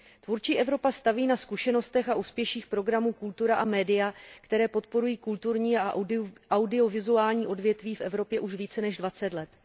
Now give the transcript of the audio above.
Tvůrčí Evropa staví na zkušenostech a úspěších programů Kultura a Media, které podporují kulturní a audiovizuální odvětví v Evropě už více než 20 let.